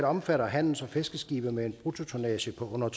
omfatter handels og fiskeskibe med en bruttotonnage på under